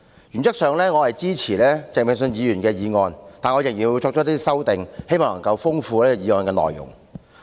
原則上，我支持鄭泳舜議員的議案，但我仍要作出一些修訂，希望豐富議案的內容。